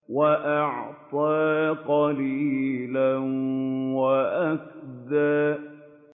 وَأَعْطَىٰ قَلِيلًا وَأَكْدَىٰ